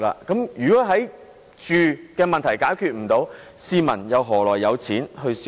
住屋問題未能解決，市民又何來金錢消費？